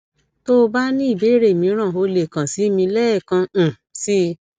tó o bá ní ìbéèrè mìíràn o lè kàn sí mi lẹẹkan um sí i